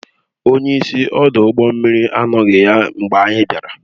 Onye isi ọdụ ụgbọ mmiri anọghị ya mgbe anyị bịara